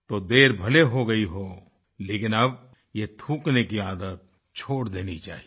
तो देर भले ही हो गई हो लेकिन अब ये थूकने की आदत छोड़ देनी चाहिए